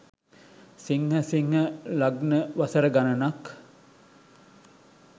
සිංහ සිංහ ලග්න වසර ගණනක්